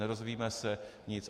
Nedozvíme se nic.